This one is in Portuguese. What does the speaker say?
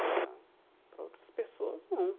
Agora, para outras pessoas, não.